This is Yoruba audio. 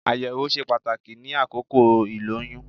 Àyẹ̀wò ṣe pàtàkì ní àkókò ìlóyún